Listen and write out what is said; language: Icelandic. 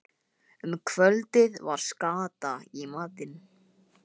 Um kvöldið var skata í matinn.